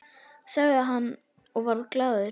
sagði hann og varð glaður við.